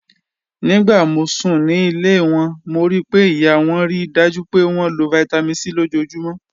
Nigbati mo sun ni ile wọn, mo rii pe iya wọn rii daju pe wọn lo Vitamin C lojoojumọ.